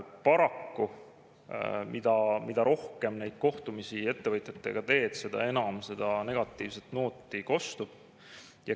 Paraku, mida rohkem neid kohtumisi ettevõtjatega teed, seda enam sealt negatiivset nooti kostub.